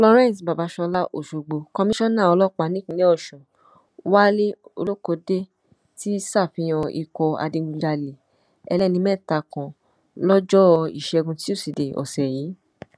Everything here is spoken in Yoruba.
florence babàsọlá òṣogbo kọmíṣánnà ọlọ́pàá nípìnínlẹ̀ ọ̀ṣun wálé olókóde ti ṣàfihàn ikọ̀ adigunjalè ẹlẹ́nimẹ́ta kan lọ́jọ́ ìṣẹ́gun túṣìdeè ọ̀sẹ̀ yìí